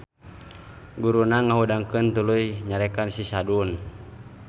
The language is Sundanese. Guruna ngahudangkeun tuluy nyarekan si Sadun.